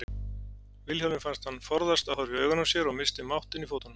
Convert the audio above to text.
Vilhjálmi fannst hann forðast að horfa í augun á sér og missti máttinn í fótunum.